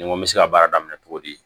Ni n ko n bɛ se ka baara daminɛ cogo di